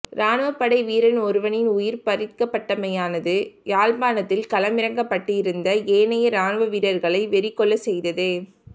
இராணுப்படை வீரன் ஒருவனின் உயிர் பறிக்கப்பட்டமையானது யாழ்ப்பாணத்தில் களமிறக்கப்பட்டிருந்த ஏனைய இராணுவ வீரர்களை வெறி கொள்ளச் செய்தது